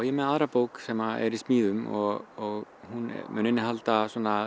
með aðra bók sem er í smíðum og hún mun innihalda